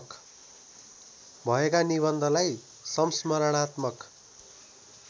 भएका निबन्धलाई संस्मरणात्मक